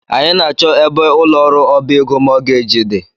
Anyị na -achọ ebe ụlọ ọrụ ọbá égo mọọgeeji dị.